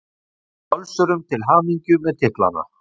Við óskum Völsurum til hamingju með titlana!